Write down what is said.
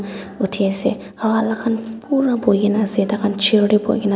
uthi ase aro ala khan pura bohai kena ase thai khan chair de bohai kena ase.